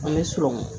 An bɛ sɔrɔmu